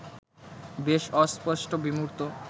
বেশ অস্পষ্ট, বিমূর্ত